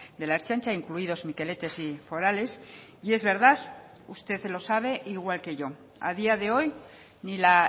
de la ertzaintza incluidos mikeletes y forales es verdad que usted lo sabe igual que yo a día de hoy ni la